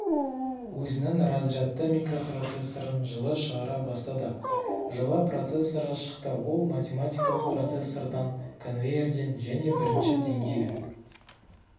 өзінің разрядты микропроцессорын жылы шығара бастады жылы процессоры шықты ол математикалық процессордан конвейерден және бірінші деңгейлі